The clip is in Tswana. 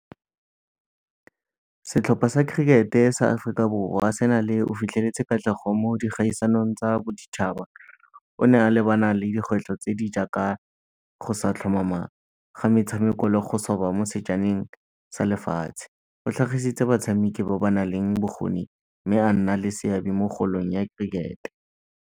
Setlhopha sa cricket-e sa Aforika Borwa se na o fitlheletse katlego mo dikgaisanong tsa boditšhaba. O ne a lebana le dikgwetlho tse di jaaka go sa tlhomama ga metshameko le go mo sejaneng sa lefatshe. O tlhagisitse batshamiki ba ba na leng bokgoni mme a nna le seabe mo kgolong ya cricket-e.